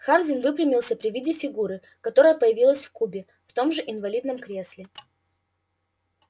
хардин выпрямился при виде фигуры которая появилась в кубе в том же инвалидном кресле